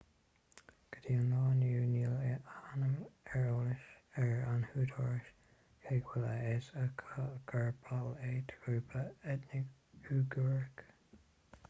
go dtí an lá inniu níl a ainm ar eolas ag na húdaráis cé go bhfuil a fhios acu gur ball é de ghrúpa eitneach uigiúrach